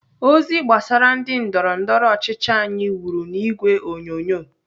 Ozi gbasara ndị ndọrọndọrọ ọchịchị anyi wuru n'ìgwè onyonyo.